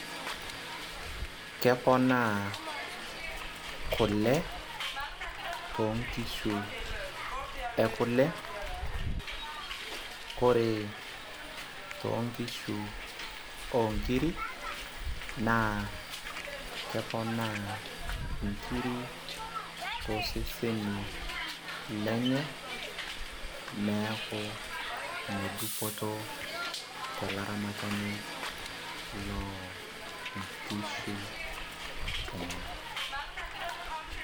keponaa kule too nkishu ekule, ore too nkishu oonkiri, naa keponaa nkiri tooseseni lenye. neku ine dupoto tolaramati loo nkishu enyenak.